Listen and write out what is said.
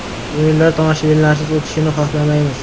“O‘yinlar tomoshabinlarsiz o‘tishini xohlamaymiz.